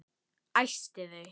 Æsti þau.